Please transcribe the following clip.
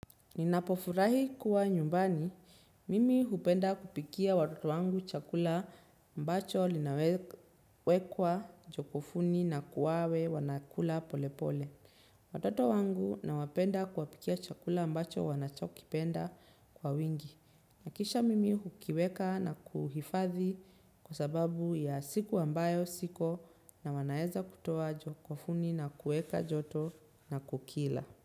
Ninapofurahi kuwa nyumbani, mimi hupenda kupikia watoto wangu chakula mbacho linawekwa jokofuni na kuwawe wanakula polepole. Watoto wangu nawapenda kuwapikia chakula ambacho wanachokipenda kwa wingi. Kisha mimi hukiweka na kuhifadhi kwa sababu ya siku ambayo siko na wanaeza kutuwa jokofuni na kueka joto na kukila.